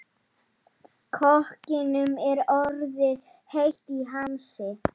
Sigurlaugur, ferð þú með okkur á föstudaginn?